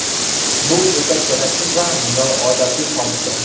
Bu o‘ta keraksiz va noodatiy hodisa.